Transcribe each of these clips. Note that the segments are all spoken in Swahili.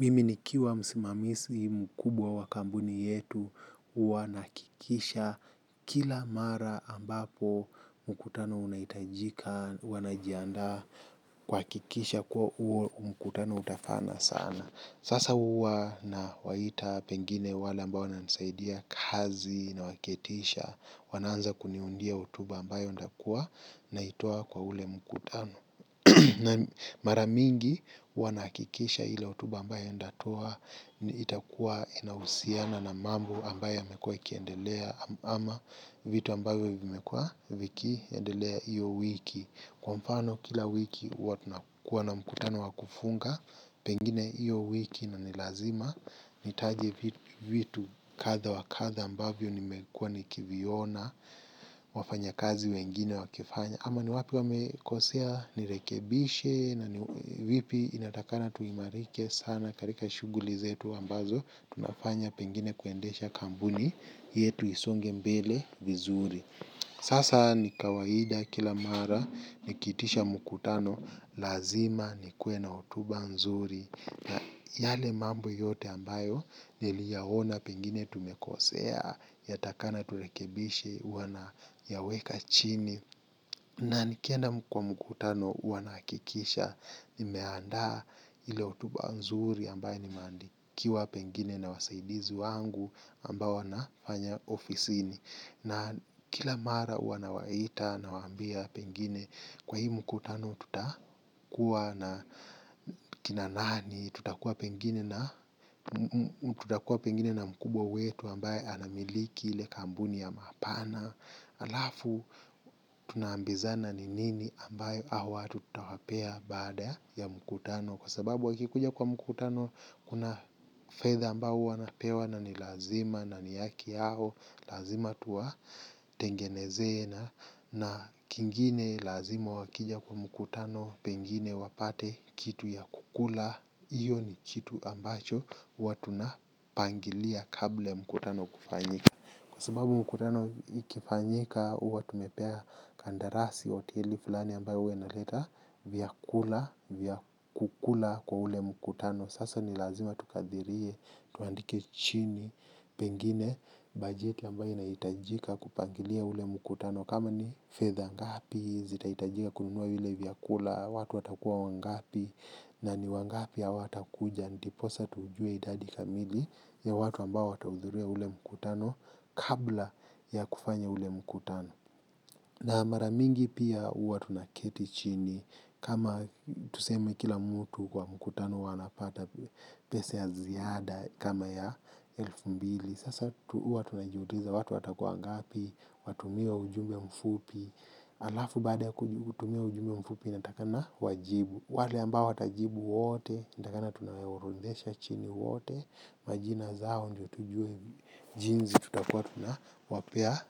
Mimi nikiwa msimamizi mkubwa wa kampuni yetu, huwa nahakikisha kila mara ambapo mkutano unahitajika, huwa najianda kuhakikisha kuwa huo mkutano utafana sana. Sasa huwa nawaita pengine wale ambao wanasaidia kazi nawaketisha, wanaanza kuniundia hotuba ambayo nitakua, naitoa kwa ule mkutano. Na mara mingi huwa nakikisha ile hotuba ambayo nitatoa itakua inahusiana na mambo ambayo imekua ikiendelea ama vitu ambayo vimekua vikiendelea hiyo wiki. Kwa mfano kila wiki huwa tunakuwa na mkutano wa kufunga pengine hiyo wiki na ni lazima nitaje vitu kadha wa kadha ambavyo nimekua nikiviona wafanya kazi wengine wakifanya. Kama ni wapi wamekosea nirekebishe na vipi inatakikana tuimarike sana katika shughuli zetu ambazo tunafanya pengine kuendesha kampuni yetu isonge mbele bizuri. Sasa ni mawaida kila mara nikiitisha mkutano lazima nikuwe na hotuba nzuri na yale mambo yote ambayo niliyaona pengine tumekosea yatakikana turekebishe huwa nayaweka chini. Na nikienda kwa mkutano huwa nahakikisha nimeandaa ile hotuba nzuri ambaye nimeandikiwa pengine na wasaidizi wangu ambao wanafanya ofisini. Na kila mara huwa nawaita nawaambia pengine kwa hii mkutano tutakuwa na kina nani tutakuwa pengine na mkubwa wetu ambaye anamiliki ile kampuni ya mapana. Na alafu tunaambizana ni nini ambayo hao watu tutawapea baada ya mkutano. Kwa sababu wakikuja kwa mkutano kuna fedha ambayo huwa wanapewa na ni lazima na ni haki yao. Lazima tuwatengeneze na kingine lazima wakija kwa mkutano pengine wapate kitu ya kukula. Hiyo ni kitu ambacho huwa tunapangilia kabla mkutano kufanyika. Kwa sababu mkutano ikifanyika huwa tumepea kandarasi hoteli fulani ambayo huwa inaleta vyakula vya kukula kwa ule mkutano. Sasa ni lazima tukadhirie tuandike chini pengine bajeti ambayo inahitajika kupangilia ule mkutano. Kama ni fedha ngapi zitahitajika kununua ile vyakula watu watakuwa wangapi na ni wangapi hawatakuja. Ndiposa tujue idadi kamili ya watu ambai watahudhuria ule mkutano kabla ya kufanya ule mkutano. Na mara mingi pia huwa tunaketi chini kama tuseme kila mtu kwa mkutano huwa anapata pesa ya ziada kama ya elfu mbili. Sasa huwa tunajiuliza watu watakua wangapi, watumia ujumbe mfupi, alafu baada kutumia ujumbe mfupi natakana wajibu. Wale ambao watajibu wote, inatakikana tunawaorodhesha chini wote, majina zao ndo tujue jinsi tutakua tunawapea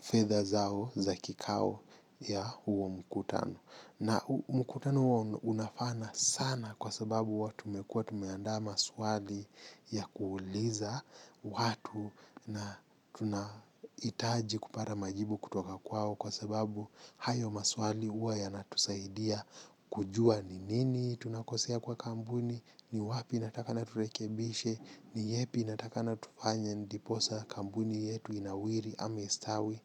fedha zao za kikao ya huo mkutano. Na mkutano huwa unafana sana kwa sababu huwa tumekua tumeandaa maswali ya kuuliza watu na tuna hitaji kupaya majibu kutoka kwao kwa sababu hayo maswali huwa yanatusaidia kujua ni nini tunakosea kwa kampuni, ni wapi inatakikana turekebishe, ni yepi inatakikana tufanye ndiposa kampuni yetu inawiri ama istawi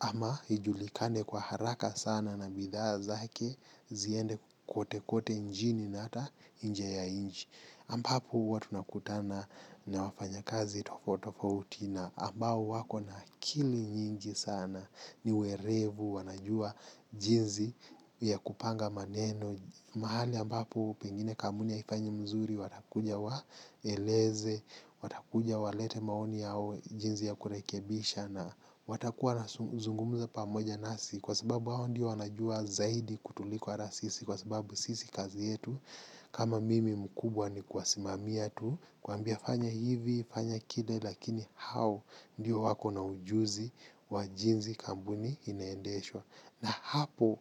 ama ijulikane kwa haraka sana na bidhaa zake ziende kote kote nchni na hata nje ya nchi. Ambapo huwa tunakutana na wafanya kazi tofauti tofauti na ambao wako na akili nyingi sana ni werevu wanajua jinsi ya kupanga maneno. Mahali ambapo pengine kampuni haifanyi mzuri watakuja waeleze, watakuja walete maoni yao jinsi ya kurekebisha na watakuwa na zungumza pamoja nasi kwa sababu hao ndiyo wanajua zaidi kutuliko hata sisi kwa sababu sisi kazi yetu kama mimi mkubwa ni kuwasimamia tu kuwaambia fanya hivi, fanya kile lakini hao ndiyo wako na ujuzi wa jinsi kampuni inaendeshwa. Na hapo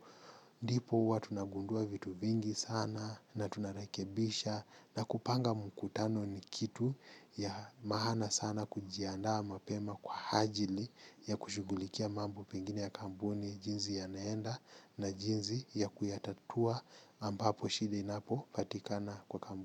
ndipo huwa tunagundua vitu vingi sana na tunarekebisha na kupanga mkutano ni kitu ya maana sana kujiandaa mapema kwa ajili ya kushughulikia mambo pengine ya kampuni jinsi yanaenda na jinsi ya kuyatatua ambapo shida inapopatikana kwa kampuni.